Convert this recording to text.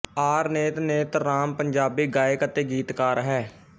R Nait Nait Ram Punjabi ਗਾਇਕ ਅਤੇ ਗੀਤਕਾਰ ਹੈ